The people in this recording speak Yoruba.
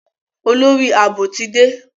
Olórí Ààbò ti dé.